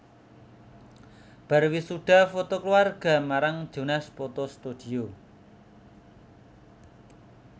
Bar wisuda foto keluarg marang Jonas Photo Studio